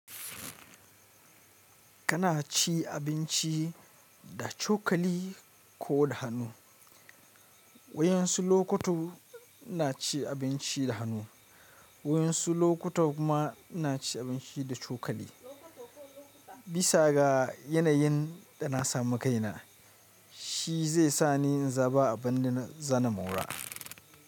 Kana cin abinci da cokali ko da hannu? Wayan su lokutu ina cin abinci da hannu, wayan su lokuta kuma ina cin abinci da cokali. Bisa ga yanayin da na samu kaina, shi zai sa ni in zaba abin da na zana mura.